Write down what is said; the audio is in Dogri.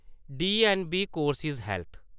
DNB courses health